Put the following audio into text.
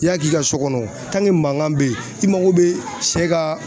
I y'a k'i ka so kɔnɔ mankan bɛ yen i mago bɛ sɛ ka